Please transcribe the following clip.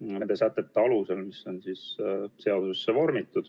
nende sätete alusel, mis on seadusesse vormitud.